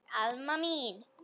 Alma mín.